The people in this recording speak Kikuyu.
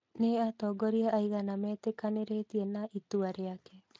Nĩ atongoria aigana metĩkanĩrĩtie na itua rĩake?